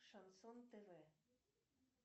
шансон тв